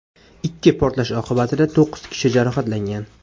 Ikki portlash oqibatida to‘qqiz kishi jarohatlangan.